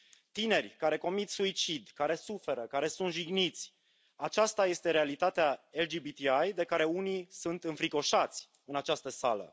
Tineri care comit suicid, care suferă, care sunt jigniți, aceasta este realitatea LGBTI de care unii sunt înfricoșați în această sală.